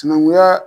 Sinankunya